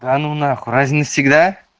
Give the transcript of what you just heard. да ну нахуй разве на всегда